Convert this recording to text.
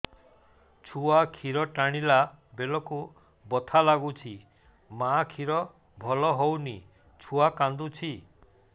ଛୁଆ ଖିର ଟାଣିଲା ବେଳକୁ ବଥା ଲାଗୁଚି ମା ଖିର ଭଲ ହଉନି ଛୁଆ କାନ୍ଦୁଚି